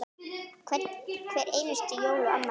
Hver einustu jól og afmæli.